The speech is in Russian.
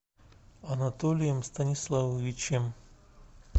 анатолием станиславовичем